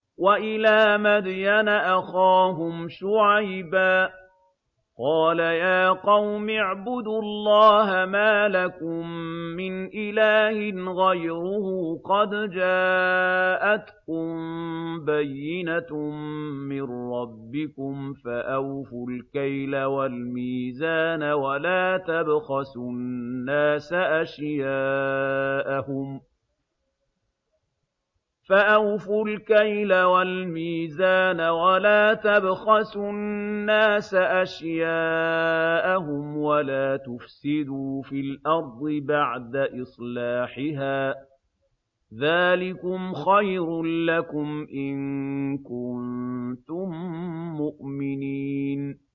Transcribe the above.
وَإِلَىٰ مَدْيَنَ أَخَاهُمْ شُعَيْبًا ۗ قَالَ يَا قَوْمِ اعْبُدُوا اللَّهَ مَا لَكُم مِّنْ إِلَٰهٍ غَيْرُهُ ۖ قَدْ جَاءَتْكُم بَيِّنَةٌ مِّن رَّبِّكُمْ ۖ فَأَوْفُوا الْكَيْلَ وَالْمِيزَانَ وَلَا تَبْخَسُوا النَّاسَ أَشْيَاءَهُمْ وَلَا تُفْسِدُوا فِي الْأَرْضِ بَعْدَ إِصْلَاحِهَا ۚ ذَٰلِكُمْ خَيْرٌ لَّكُمْ إِن كُنتُم مُّؤْمِنِينَ